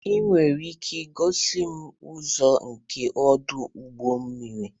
Ị nwere ike igosi m ụzọ nke ọdụ ụgbọ mmiri?